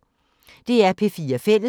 DR P4 Fælles